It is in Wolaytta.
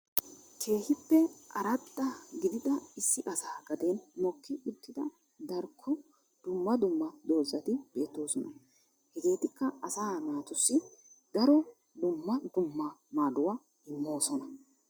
keehippe arraddaa gidida issi asaa gaddeen mokkii uttiida darkko duummaa duummaa doozati beettosonna. Hegeetikka asaa naattussi daaro duummaa duummaa maaduwa immossona.